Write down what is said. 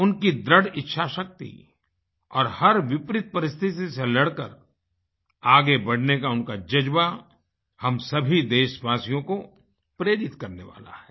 उनकी दृढ़ इच्छाशक्ति और हर विपरीत परिस्थिति से लड़कर आगे बढ़ने का उनका जज़्बा हम सभी देशवासियों को प्रेरित करने वाला है